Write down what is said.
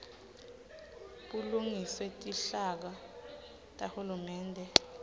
bulungiswe tinhlaka tahulumende